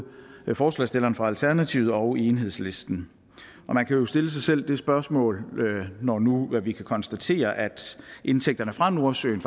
forslagsstillerne for alternativet og enhedslisten og man kan jo stille sig selv det spørgsmål når nu vi kan konstatere at indtægterne fra nordsøen